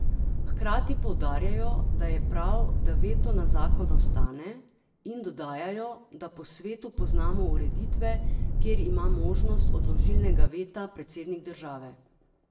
Hkrati poudarjajo, da je prav, da veto na zakon ostane, in dodajajo, da po svetu poznamo ureditve, kjer ima možnost odložilnega veta predsednik države.